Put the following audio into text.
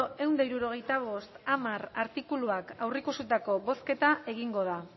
ehun eta hirurogeita bost puntu hamar artikuluak aurreikusitako bozketa egingo da